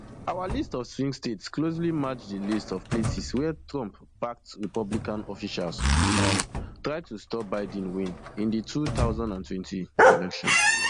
our list of swing states closely match di list of places wia trumpbacked republican officials um try to stop biden win in di two thousand and twenty election